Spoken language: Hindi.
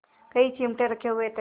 कई चिमटे रखे हुए थे